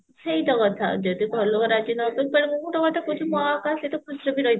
ସେଇତ କଥା ଯଦି ଘର ଲୁକ ରାଜି ନହେବେ ତାହେଲେ ମୁଁ ତ ସତ କଥା କହୁଛି ମୁଁ ଆଉ କାହା ସହିତ ଖୁସିରେ ବି